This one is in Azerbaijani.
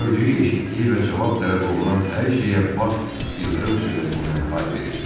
Gördüyü, eşitdiyi və cavab tələb olunan hər şeyə bax ildırım sürəti ilə hay verirdi.